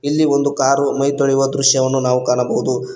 ಇಲ್ಲಿ ಒಂದು ಕಾರು ಮೈ ತೊಳಿಯುವ ದೃಶ್ಯವನ್ನು ನಾವು ಕಾಣಬಹುದು.